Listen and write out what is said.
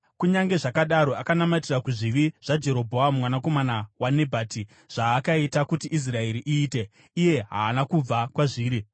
Kunyange zvakadaro, akanamatira kuzvivi zvaJerobhoamu mwanakomana waNebhati, zvaakaita kuti Israeri iite, iye haana kubva kwazviri.